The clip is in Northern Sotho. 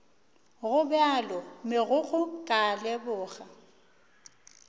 gobjalo megokgo ka a leboga